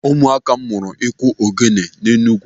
Ụmụaka m mụrụ iku ogele n'Enugwu.